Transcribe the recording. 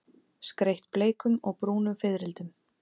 Skreytt bleikum og brúnum fiðrildum.